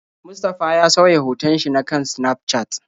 Mustafa ya sauya hoton shi na kan Snafcat.